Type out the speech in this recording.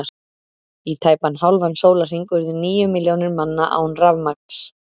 Í tæpan hálfan sólarhring urðu níu milljónir manna án rafmagns.